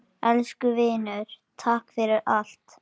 Elsku vinur, takk fyrir allt.